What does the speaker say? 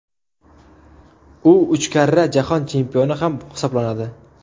U uch karra jahon chempioni ham hisoblanadi.